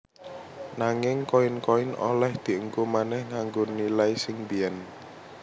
Nanging koin koin oleh dienggo manèh nganggo nilai sing mbiyen